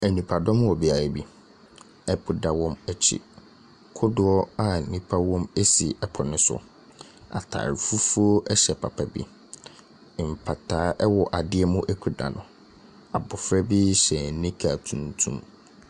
Nnipa dɔm wɔ beae bi. Ɛpo da wɔn akyi. Kodoɔ a nnipa wom esi ɛpo no so. Ataare fufuo ɛhyɛ papa bi. Mpataa ɛwɔ adeɛ mu ekuta no. Abofra bi hyɛ nika tuntum.